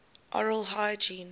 oral hygiene